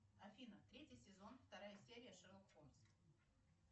афина третий сезон вторая серия шерлок холмс